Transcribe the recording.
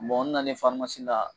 Bɔn n nalen farimasi la